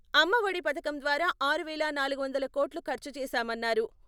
అమ్మ ఒడి పథకం ద్వారా ఆరు వేల నలుగు వందల కోట్లు ఖర్చు చేశామన్నారు.